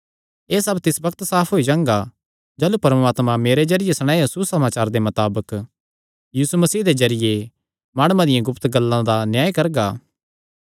एह़ सब तिस बग्त साफ होई जांगा जाह़लू परमात्मा मेरे जरिये सणायो सुसमाचार दे मताबक यीशु मसीह दे जरिये माणुआं दियां गुप्त गल्लां दा न्याय करगा